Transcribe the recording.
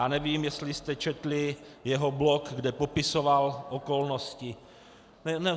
A nevím, jestli jste četli jeho blog, kde popisoval okolnosti.